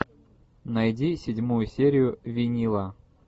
найди седьмую серию винила